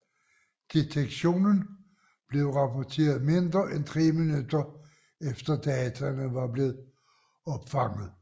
Detektionen blev rapporteret mindre end tre minutter efter dataene var blevet opfanget